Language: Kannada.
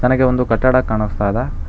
ನನಗೆ ಒಂದು ಕಟ್ಟಡ ಕಾಣಿಸ್ತಾ ಇದೆ.